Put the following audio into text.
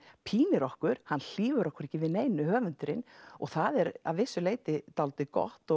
pínir okkur hann hlífir okkur ekki við neinu og það er að vissu leyti dálítið gott